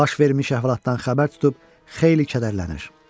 Baş vermiş əhvalatdan xəbər tutub xeyli kədərlənir.